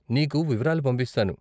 నీకు వివరాలు పంపిస్తాను.